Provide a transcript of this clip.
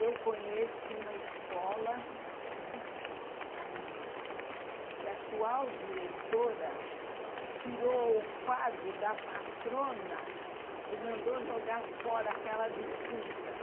Eu conheço uma escola, infelizmente a minha, que a atual diretora tirou o quadro da patrona e mandou jogar fora aquela defunta.